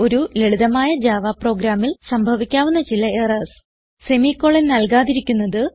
ഒരു ലളിതമായ ജാവ പ്രോഗ്രാമിൽ സംഭവിക്കാവുന്ന ചില എറർസ് semicolon നൽകാതിരിക്കുന്നത്